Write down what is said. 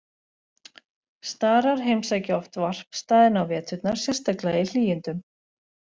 Starar heimsækja oft varpstaðina á veturna, sérstaklega í hlýindum.